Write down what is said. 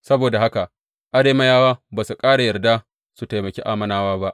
Saboda haka Arameyawa ba su ƙara yarda su taimaki Ammonawa ba.